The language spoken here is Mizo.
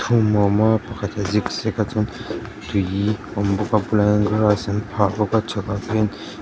pathum a awm a pakhat a zig zag a chuan tui a awm bawk a plain grass an phah bawk a chhakah khian--